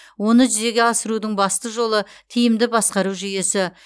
оны жүзеге асырудың басты жолы тиімді басқару жүйесі